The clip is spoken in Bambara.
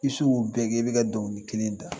bɛɛ kɛ i bɛ ka dɔnkili kelen da